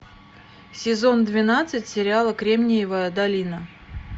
сезон двенадцать сериала кремниевая долина